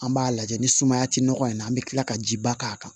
An b'a lajɛ ni sumaya ti nɔgɔ in na an be kila ka ji ba k'a kan